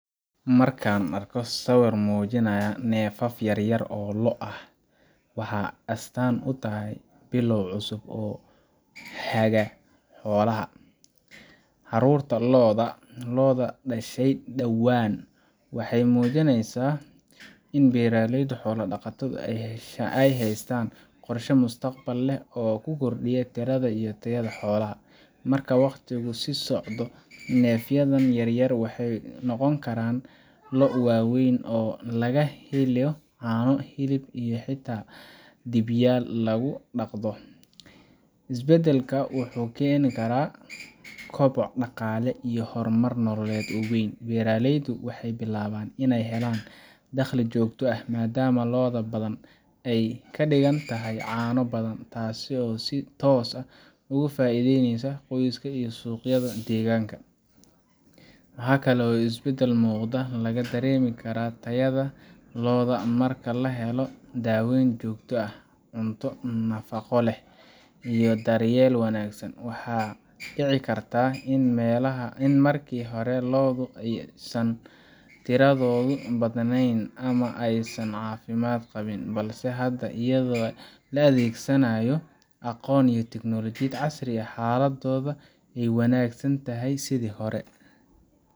Markan Arko Sawir Mujinaya Nefaaf Yaryar Oo Lo' Ah Wxa Astan Uu Tahay Bilow Cusub Oo Haga Xolaha Carurta lo'da Loda Dhashay Dawan Wxey Mujineysa In Beralayda Xola Dhaqataada Aay Haystaan Qorshe Mustaqbal Leh Oo Kuu Kordiya tirada iyo Tayada Xolaha Marka Waqtigu Sii Socdo Nefyadan Yaryar Wxey Noqon Karaan Lo' Waweyn oo Laga Heelo Cano hilib iyo Xata dhigyal lagu daqdo isbadalka Wxu Keni Kara koboc dhaqaale iyo hormar nolooled Oo weyn Beraleydu wxey bilaban iney helan daqli Joogto Ah madama Lo'du Badan Aay Kaa Digantahay cano Badan Tasi oo si Toos Ah Oga faideyneysa Qoyska iyo Suqyada Daganka Wxa Kale Oo isbadal Muqda laga Dareemi Kara Tayaada lo'da marka lahelo daweyn Jogto Ah Cunto Nafaqoleh iyo Daryel Wanagsan Wxa dici Karta in marki hore lo'da Aysan tiradoda Badneyn Ama Aysan Cafimad Qabiin Balse Hada Ayado la Adegsanayo Aqoon iyo tignologiyad Casri Ah Xaladoda Ayka Wananagsntahay sidi Hore